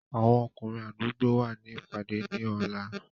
Àwọn ọkùnrin àdúgbò wa ní ìpàdé ní ọ̀la.